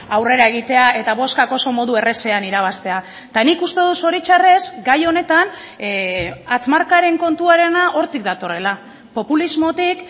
aurrera egitea eta bozkak oso modu errazean irabaztea eta nik uste dut zoritxarrez gai honetan hatz markaren kontuarena hortik datorrela populismotik